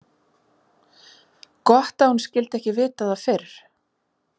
Gott að hún skyldi ekki vita það fyrr.